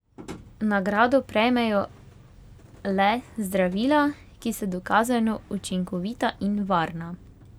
Nagrado prejmejo le zdravila, ki so dokazano učinkovita in varna.